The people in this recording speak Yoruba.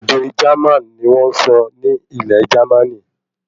Èdè Jerman ní wọ́n sọ ní ilẹ̀ Jermaní